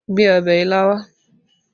Gbé ọbẹ̀ ilá wá!